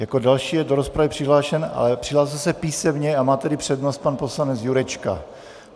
Jako další je do rozpravy přihlášen, ale přihlásil se písemně a má tedy přednost, pan poslanec Jurečka.